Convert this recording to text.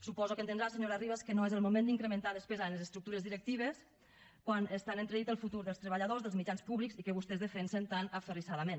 suposo que entendrà senyora ribas que no és el moment d’incrementar despesa a les estructures directives quan està en entredit el futur dels treballadors dels mitjans públics i que vostès defensen tan aferrissadament